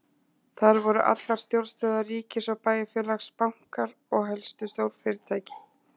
Þar voru allar stjórnstöðvar ríkis og bæjarfélags, bankar og helstu stórfyrirtæki.